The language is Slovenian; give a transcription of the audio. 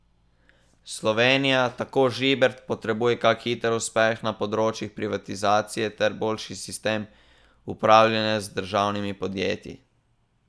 Slovenija, tako Žibret, potrebuje kak hiter uspeh na področju privatizacije ter boljši sistem upravljanja z državnimi podjetji.